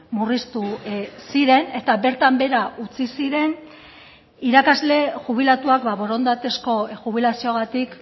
murriztu ziren eta bertan behera utzi ziren irakasle jubilatuak borondatezko jubilazioagatik